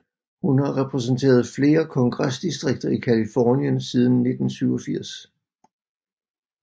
Hun har repræsenteret flere kongresdistrikter i Californien siden 1987